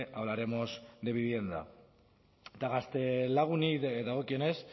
hablaremos de vivienda eta gaztelaguni dagokionez